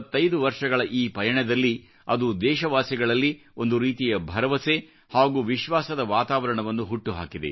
25 ವರ್ಷಗಳ ಈ ಪಯಣದಲ್ಲಿ ಅದು ದೇಶವಾಸಿಗಳಲ್ಲಿ ಒಂದು ರೀತಿಯ ಭರವಸೆ ಹಾಗೂ ವಿಶ್ವಾಸದ ವಾತಾವರಣವನ್ನು ಹುಟ್ಟುಹಾಕಿದೆ